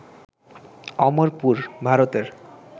অমরপুর, ভারতের